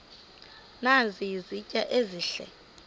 nazi izitya ezihle